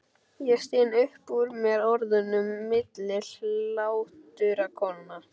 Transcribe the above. Ég styn upp úr mér orðunum milli hláturrokanna.